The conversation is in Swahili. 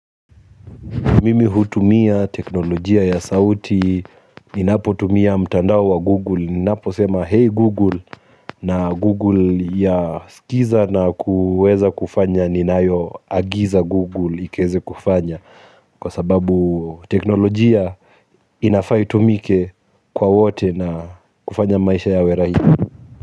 Mimi hutumia teknolojia ya sauti, ninapotumia mtandao wa Google, ninapo sema hey Google na Google ya skiza na kuweza kufanya ninayoagiza Google ikaeze kufanya kwa sababu teknolojia inafaa itumike kwa wote na kufanya maisha yawe rahisi.